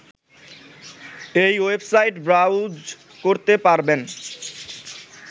এই website browse করতে পারবেন